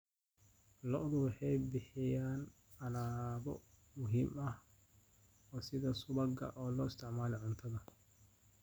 Lo'du waxay bixiyaan alaabo muhiim ah sida subaga oo loo isticmaalo cuntada.